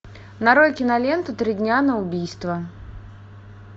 нарой киноленту три дня на убийство